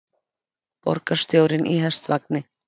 Borgarstjórinn í hestvagni